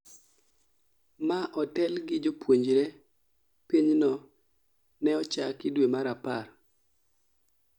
ma otel gi jopuonjre pinyno ne ochaki due mar apar